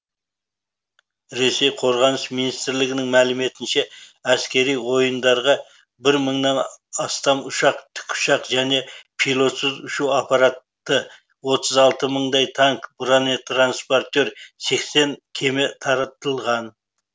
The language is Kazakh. ресей қорғаныс министрлігінің мәліметінше әскери ойындарға бір мыңнан астам ұшақ тікұшақ және пилотсыз ұшу аппараты отыз алты мыңдай танк бронетранспортер сексен кеме таратылған